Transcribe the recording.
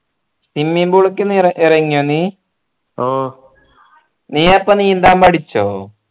swimming pool ക്കു ഇറങ്ങിയോ നീ ഓ നീ അപ്പൊ നീന്താൻ പഠിച്ചോ